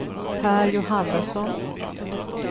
Pär Johannesson